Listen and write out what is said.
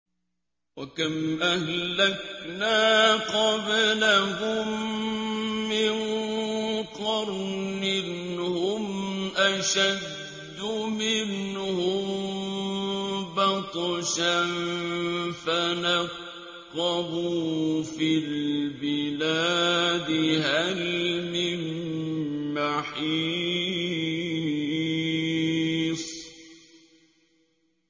وَكَمْ أَهْلَكْنَا قَبْلَهُم مِّن قَرْنٍ هُمْ أَشَدُّ مِنْهُم بَطْشًا فَنَقَّبُوا فِي الْبِلَادِ هَلْ مِن مَّحِيصٍ